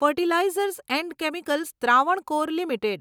fertilizers and chemicals Travancore limited